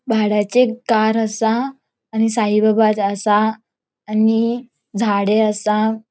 भाड्याचे एक कार असा आणि साईबाबा ज असा आणि झाड़े असा.